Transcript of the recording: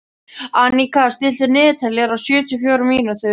Anika, stilltu niðurteljara á sjötíu og fjórar mínútur.